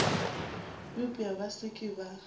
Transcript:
eupša ba se ke ba